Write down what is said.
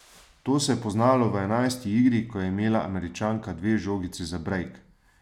To se je poznalo v enajsti igri, ko je imela Američanka dve žogici za brejk.